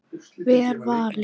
Vel valið.